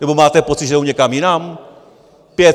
Nebo máte pocit, že jdou někam jinam?